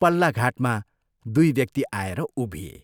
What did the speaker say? पल्ला घाटमा दुइ व्यक्ति आएर उभिए।